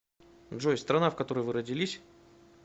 джой страна в которой вы родились